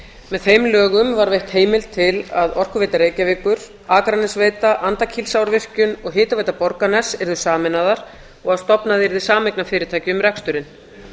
með þeim lögum var veittheimild til að orkuveita reykjavíkur akranesveita andakílsárvirkjun og hitaveita borgarness yrðu sameinaðar og að stofnað yrði sameignarfyrirtæki um reksturinn